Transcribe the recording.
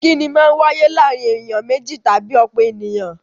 Ìkínni Maa ń wáyé láàárín ènìyàn méjì tàbí ọ̀pọ̀ ènìyàn